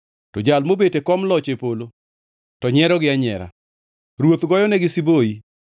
To Jal mobet e kom loch e polo to nyierogi anyiera, Ruoth goyonegi siboi.